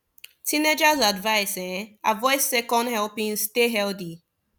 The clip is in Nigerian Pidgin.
teenagers advised um avoid second helpings stay healthy